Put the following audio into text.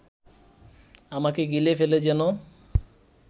আমাকে গিলে ফেলে যেন